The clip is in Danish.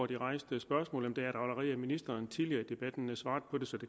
det rejste spørgsmål har ministeren allerede tidligere i debatten svaret på det så det